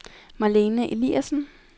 Marlene Eliasen